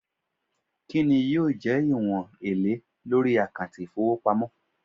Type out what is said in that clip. Kinni yoo je iwon ele lori akanti ifowopamo